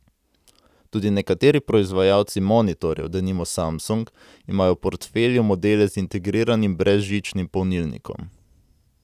Tudi nekateri proizvajalci monitorjev, denimo Samsung, imajo v portfelju modele z integriranim brezžičnim polnilnikom.